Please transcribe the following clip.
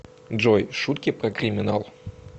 джой шутки про криминал